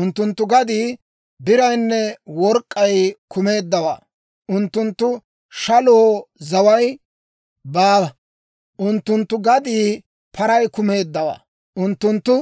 Unttunttu gaddii biraynne work'k'ay kumeeddawaa; unttunttu shaloo zaway baawa. Unttunttu gaddii paray kumeeddawaa; unttunttu